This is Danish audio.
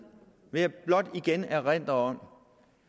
vil jeg blot igen erindre om